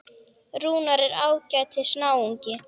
Rúnar er ágætis náungi.